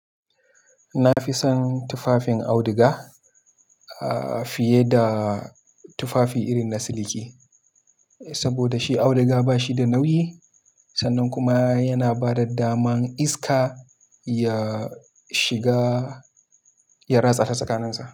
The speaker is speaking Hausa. Na fi son tufafin auduga, ah, fiye da tufafi irin na siliki. Saboda shi auduga ba shi da nauyi sannan kuma yana bada daman iska ya shiga, ya ratsa ta tsakanin sa.